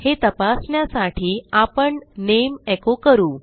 हे तपासण्यासाठी आपण नेम एको करू